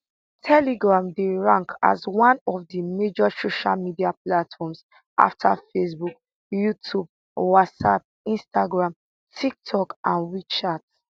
telegram dey rank as one of di major social media platforms afta facebook youtube whatsapp instagram tiktok and and wechat